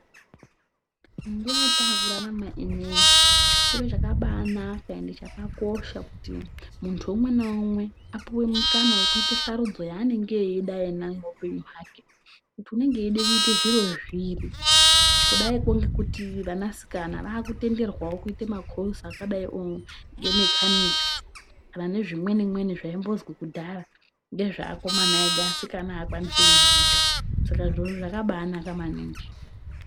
Munguwa yetakurarama ineyi chiro chakabanaka ende chakakosha kuti muntu umwe naumwe apuwe mukana wekuite sarudza yaanenge eida iyena muupenyu hwake, kuti unenge eide kuita zviro zviri. Kudaiko ngekuti vanasikana vakutenderwawo kuite makosi akadaio ngemekanikisi vane zvimweni mweni zvaimbozwi kudhaya ngezveakomana ega asikana haakwanisi kuzviita. Saka zvirowo zvakabanaka maningi.